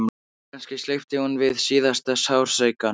Kannski slyppi hún við síðasta sársaukann.